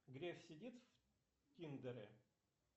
греф сидит в тиндере